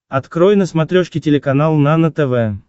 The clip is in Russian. открой на смотрешке телеканал нано тв